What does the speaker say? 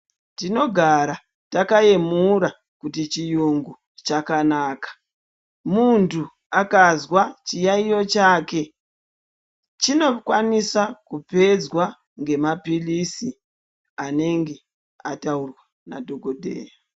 Tinogara takayemura kuti chiyungu chakanaka. Muntu akazwa chiyaiyo chake, chinokwanisa kupedzwa ngemaphirizi, anenge ataurwa nadhogodheya.